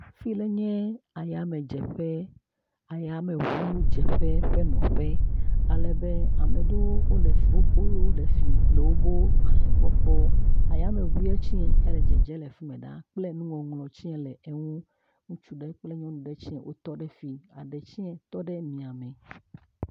Fi le nye ayamedzeƒe, ayameŋudzeƒe ƒe nɔƒe alebe ame ɖewo le fi le wobo gbalẽ gbɔ kpɔ, ayameŋu tse le dzedze le fi me ɖaa kple nuŋɔŋlɔ tsie le eŋu, ŋutsu ɖe kple nyɔnu aɖe tsie wotɔ ɖe fi aɖe tsie tɔ ɖe miame.